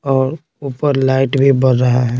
और ऊपर लाइट भी बर रहा है।